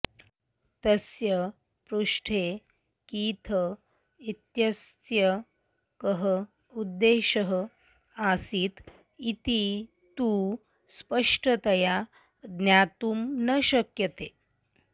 तस्य पृष्ठे कीथ इत्यस्य कः उद्देशः आसीत् इति तु स्पष्टतया ज्ञातुं न शक्यते